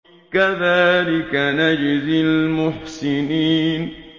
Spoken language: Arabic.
كَذَٰلِكَ نَجْزِي الْمُحْسِنِينَ